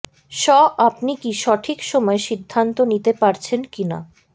ষ আপনি কি সঠিক সময়ে সিদ্ধান্ত নিতে পারছেন কিনা